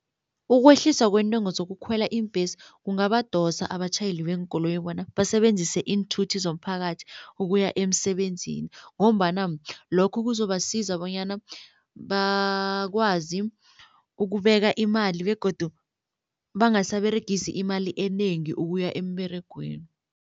Ukwehliswa kwentengo zokukhwela iimbhesi kungabadosa abatjhayeli beenkoloyi bona basebenzise iinthuthi zomphakathi ukuya emsebenzini ngombana lokho kuzobasiza bonyana bakwazi ukubeka imali begodu bangasaberegisi imali enengi ukuya emberegweni.